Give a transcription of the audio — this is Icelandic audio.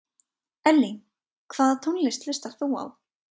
Elling Hvaða tónlist hlustar þú á?